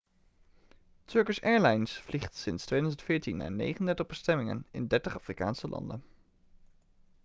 turkish airlines vliegt sinds 2014 naar 39 bestemmingen in 30 afrikaanse landen